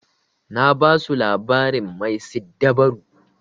Na basu labarin mai siddabaru.